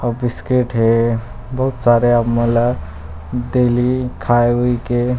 अउ बिस्किट हे बहुत सारा मले खाए हुई के--